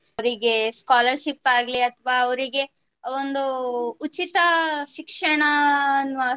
ಅವುರಿಗೆ scholarship ಆಗ್ಲಿ ಅಥವಾ ಅವುರಿಗೆ ಒಂದು ಉಚಿತ ಶಿಕ್ಷಣ ಅನ್ನುವ